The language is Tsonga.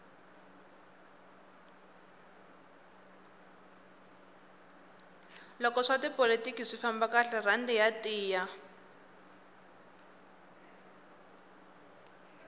loko swa tipolotiki swi famba kahle rhandi ya tiya